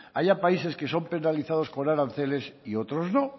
haya países que son penalizados por aranceles y otros no